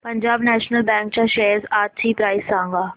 Punjab national bank च्या shares आजची price सांगा